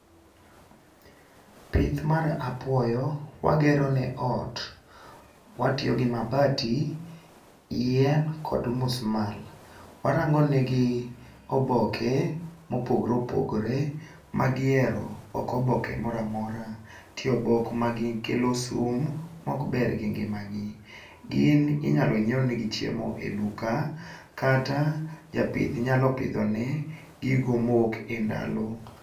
Pith mar apuoyo wagero ne ot watiyo gi mabati, gi yien kod omusmal. Warango ne gi oboke mopogore opogore ma giero ok oboke moramora. Ntie obok makelo sum mok ber gi ngima .Gi gin inyalo nyiew ne gi chiemo e duka kata japith nyalo pidho ne gi gigo mowuok e ndalo.